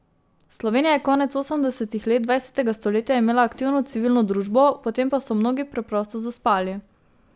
Slovenija je konec osemdesetih let dvajsetega stoletja imela aktivno civilno družbo, potem pa so mnogi preprosto zaspali.